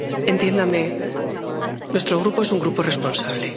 Entiéndame, nuestro Grupo es un grupo responsable.